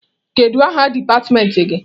Kedu aha dipatịmentị gị?